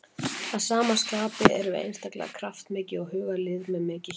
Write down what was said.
Að sama skapi erum við einstaklega kraftmikið og hugað lið með mikið hjarta.